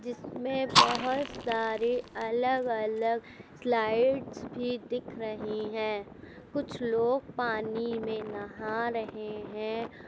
जिसमें बहोत सारी अलग-अलग स्लाइड्स भी दिख रही हैं कुछ लोग पानी में नहा रहे हैं।